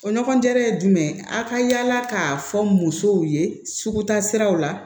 O ɲɔgɔndan ye jumɛn ye a ka yala k'a fɔ musow ye sugu taa siraw la